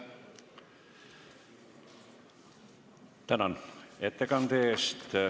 Tänan ettekande eest!